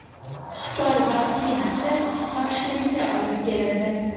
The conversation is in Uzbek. Xitoy vaksinasi Toshkentga olib kelindi.